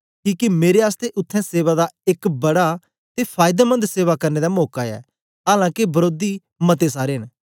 किके मेरे आसतै उत्थें सेवा दा एक बड़ा ते फायदेमन्द सेवा करने दा मौका ऐ आलां के वरोधी मते सारे न